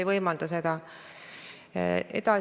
Mul on hea meel, et te seda valdkonda tõesti väärtustate.